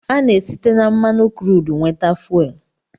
Ana-site na mmanụ kruud nweta fuwel.